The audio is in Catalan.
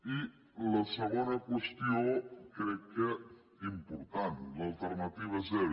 i la segona qüestió crec que important l’alternativa zero